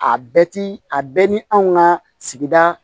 A bɛɛ ti a bɛɛ ni anw ka sigida